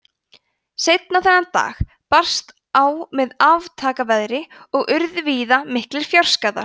seinna þennan dag brast á með aftaka veðri og urðu víða miklir fjárskaðar